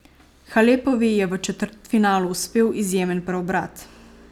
Halepovi je v četrtfinalu uspel izjemen preobrat.